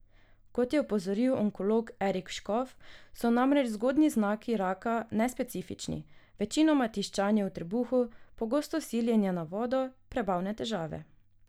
Kot je opozoril onkolog Erik Škof, so namreč zgodnji znaki raka nespecifični, večinoma tiščanje v trebuhu, pogosto siljenje na vodo, prebavne težave.